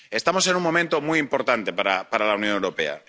Estamos en un momento muy importante para la Unión Europea.